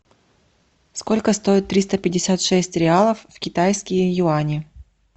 сколько стоит триста пятьдесят шесть реалов в китайские юани